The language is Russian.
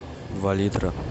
два литра